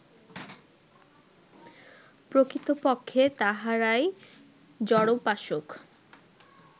প্রকৃতপক্ষে তাঁহারাই জড়োপাসক